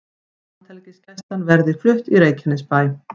Landhelgisgæslan verði flutt í Reykjanesbæ